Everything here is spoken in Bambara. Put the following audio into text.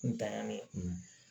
N tanyani